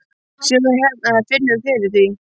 Sérðu það hérna eða finnurðu fyrir því?